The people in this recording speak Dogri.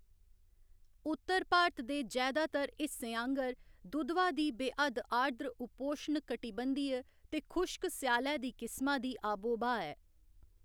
उत्तर भारत दे जैदातर हिस्सें आंह्‌गर, दुधवा दी बेहद्द आर्द्र उपोष्ण कटिबंधीय ते खुश्क स्यालै दी किस्मा दी आबो ब्हा ऐ।